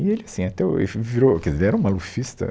E ele assim, é até hoje, foi, virou, quer dizer era um malufista.